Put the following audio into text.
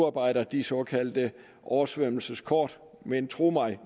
oprette de såkaldte oversvømmelseskort men tro mig